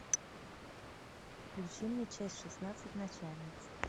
включи мне часть шестнадцать начальница